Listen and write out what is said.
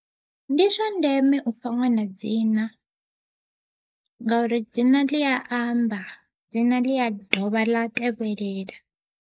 Ndi zwa ndeme ufha ṅwana dzina, ngauri dzina ḽi a amba dzina ḽi a dovha ḽa tevhelela.